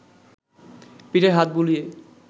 পিঠে হাত বুলিয়ে